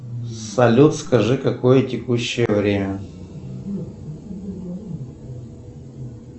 салют скажи какое текущее время